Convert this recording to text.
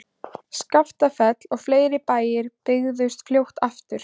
Skaftafell og fleiri bæir byggðust fljótt aftur.